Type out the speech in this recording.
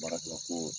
Baara kɛla ko